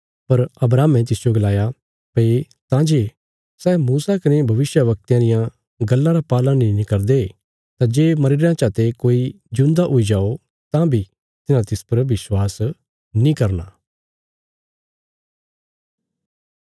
पर अब्राहमे तिसजो गलाया भई तां जे सै मूसा कने भविष्यवक्तयां रियां गल्लां रा पालन नीं करदे तां जे मरीरेआं चा ते कोई जिऊंदा हुई जाओ तां बी तिन्हां तिस पर विश्वास नीं करना